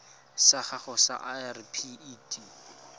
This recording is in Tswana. sa gago sa irp it